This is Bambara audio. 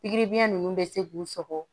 Pikiri biyɛn nunnu bɛ se k'u sɔgɔ